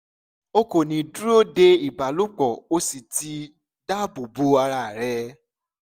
o kò ní dúró de ìbálòpọ̀ o sì ti dáàbò bo ara rẹ